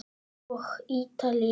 Og Ítalíu.